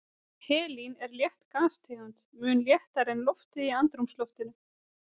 Helín er létt gastegund, mun léttari en loftið í andrúmsloftinu.